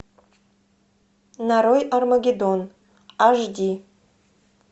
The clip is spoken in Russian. нарой армагеддон аш ди